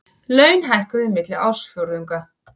Laun hækkuðu milli ársfjórðunga